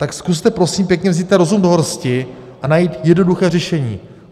Tak zkuste, prosím pěkně, vzít rozum do hrsti a najít jednoduché řešení.